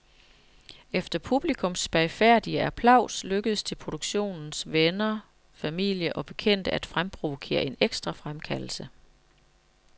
Efter publikums spagfærdige applaus lykkedes det produktionens venner, familie og bekendte at fremprovokere en ekstra fremkaldelse.